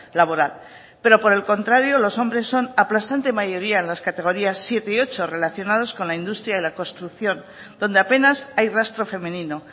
laboral pero por el contrario los hombres son aplastante mayoría en las categorías siete y ocho relacionados con la industria y la construcción donde apenas hay rastro femenino